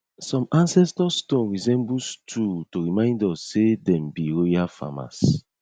some ancestor stone resemble stool to remind us say dem be royal farmers